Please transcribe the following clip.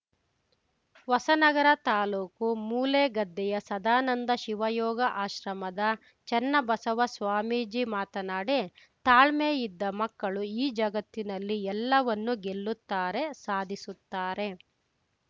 ಹೊಸನಗರ ತಾಲೂಕು ಮೂಲೆಗದ್ದೆಯ ಸದಾನಂದ ಶಿವಯೋಗ ಆಶ್ರಮದ ಚೆನ್ನಬಸವ ಸ್ವಾಮೀಜಿ ಮಾತನಾಡಿ ತಾಳ್ಮೆ ಇದ್ದ ಮಕ್ಕಳು ಈ ಜಗತ್ತಿನಲ್ಲಿ ಎಲ್ಲವನ್ನು ಗೆಲ್ಲುತ್ತಾರೆ ಸಾಧಿಸುತ್ತಾರೆ